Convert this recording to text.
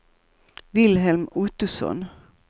Wilhelm Ottosson